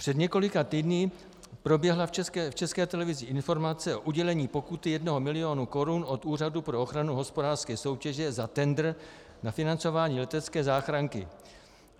Před několika týdny proběhla v České televizi informace o udělení pokuty jednoho milionu korun od Úřadu pro ochranu hospodářské soutěže za tendr na financování letecké záchranky.